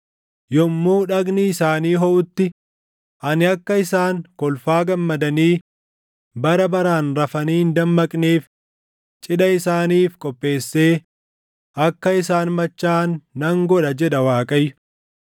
Yommuu dhagni isaanii hoʼutti, ani akka isaan kolfaa gammadanii bara baraan rafanii hin dammaqneef cidha isaaniif qopheessee akka isaan machaaʼan nan godha” jedha Waaqayyo.